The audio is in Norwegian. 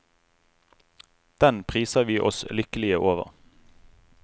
Den priser vi oss lykkelige over.